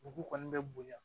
Dugu kɔni bɛ bonya